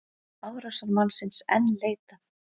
Árásarmannsins enn leitað